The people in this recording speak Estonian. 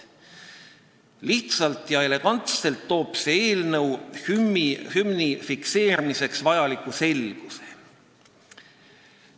Lihtsalt ja elegantselt loob see eelnõu hümni fikseerimiseks vajaliku selguse.